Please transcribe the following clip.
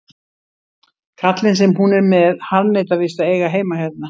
Kallinn sem hún er með harðneitar víst að eiga heima hérna.